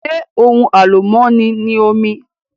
Ṣé ohun àlùmọ́ni ni omi?